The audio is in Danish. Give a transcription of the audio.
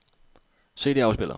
CD-afspiller